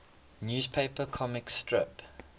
newspaper comic strip